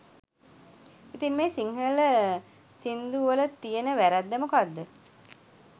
ඉතින් මේ සිංහල සින්දු වලතියෙන වැරැද්ද මොකක්ද?